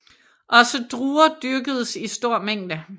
Også druer dyrkedes i stor mængde